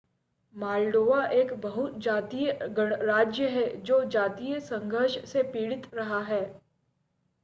Moldova एक बहु जातीय गणराज्य है जो जातीय संघर्ष से पीड़ित रहा है